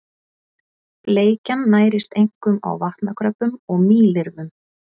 Bleikjan nærist einkum á vatnakröbbum og mýlirfum.